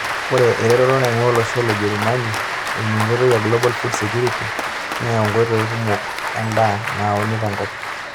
Ore eretoto naing'uaa olosho le Jerumani eimu enkoitoi e Global Food Security neyau nkoitoi kumok endaa naauni tenkop.